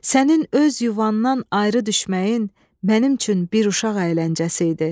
Sənin öz yuvandan ayrı düşməyin mənim üçün bir uşaq əyləncəsi idi.